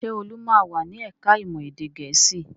Ṣé Olu máa wà ní ẹ̀ka-ìmọ̀ èdè Gẹ̀ẹ́sì?